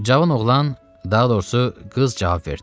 Cavan oğlan, daha doğrusu, qız cavab verdi.